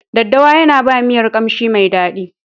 Daddawa yana ba miyan kamshi mai daɗi.